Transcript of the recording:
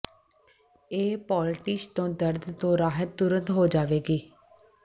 ਇਸ ਪੋਲਟਿਸ਼ ਤੋਂ ਦਰਦ ਤੋਂ ਰਾਹਤ ਤੁਰੰਤ ਹੋ ਜਾਵੇਗੀ